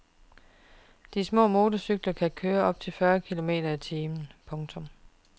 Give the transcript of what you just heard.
De små motorcykler kan køre op til fyrre kilometer i timen. punktum